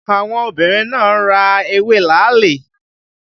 Àwọn obìnrin náà ra ewé làálì